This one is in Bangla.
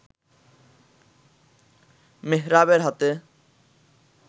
মেহরাবের হাতে